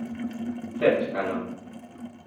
Srčkano.